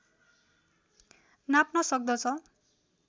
नाप्न सक्दछ